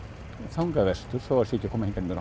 þangað vestur þó það sé ekki að koma hingað nema